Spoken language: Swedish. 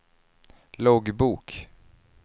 loggbok